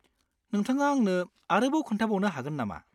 नोंथाङा आंनो आरोबाव खोन्थाबावनो हागोन नामा?